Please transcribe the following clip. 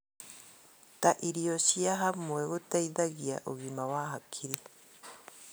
ta irio cia hamwe gũteithagia ũgima wa hakiri.